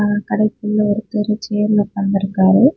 ஒரு கடெக்குள்ள ஒருத்தரு சேர்ல உட்கார்ந்து இருக்காரு.